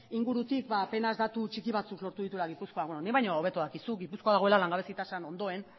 ingurutik apenas datu txiki batzuk lortu dituela gipuzkoak beno nik baino hobeto dakizu gipuzkoa dagoela langabezi tasan ondoen